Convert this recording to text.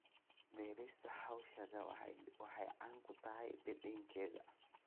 Beerista xawaashka waxay caan ku tahay dhadhankeeda.